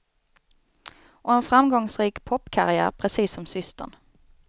Och en framgångsrik popkarriär precis som systern.